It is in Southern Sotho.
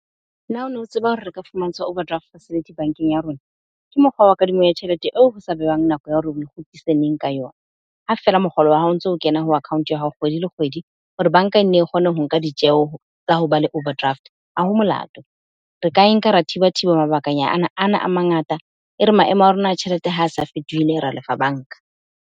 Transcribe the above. Na ono tseba hore reka fumantshwa overdraft facility bank-eng ya rona. Ke mokgwa wa kadimo ya tjhelete eo ho se behang nako ya hore o kgutlise neng, ka yona. Ha fela mokgolo wa hao ntso kena ho account ya hao kgwedi le kgwedi. Hore bank-a e nne e kgone ho nka ditjeho, tsa ho ba le overdraft. Ha ho molato, re ka e nka re thiba thiba mabakanyana ana a mangata. E re maemo a rona a tjhelete ha sa fetohile, ra lefa bank-a.